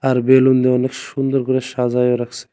আর balloon দিয়ে অনেক সুন্দর করে সাজায়ও রাখ--